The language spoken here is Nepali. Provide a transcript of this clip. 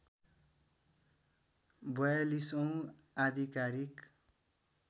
४२ औँ आधिकारिक